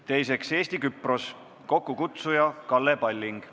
Teiseks, Eesti-Küprose parlamendirühm, kokkukutsuja on Kalle Palling.